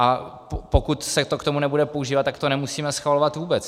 A pokud se to k tomu nebude používat, tak to nemusíme schvalovat vůbec.